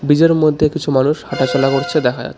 ব্রিজের মধ্যে কিছু মানুষ হাঁটাচলা করছে দেখা যাচ্ছে।